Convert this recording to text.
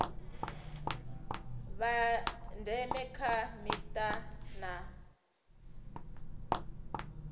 vha ndeme kha mita na